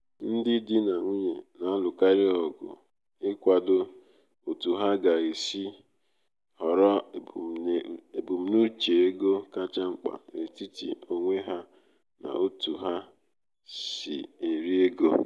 um ndi di na nwunye na-alụkarị ọgụ ịkwado otu ha ga-esi họrọ ebumnuche ego kacha mkpa n’etiti onwe ha n’otú ha n’otú ha si eri ego.